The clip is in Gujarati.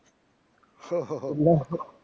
ઓહ્હ